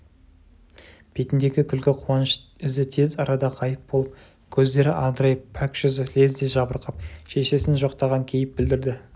бетіндегі күлкі қуаныш ізі тез арада ғайып болып көздері адырайып пәк жүзі лезде жабырқап шешесін жоқтаған кейіп білдірді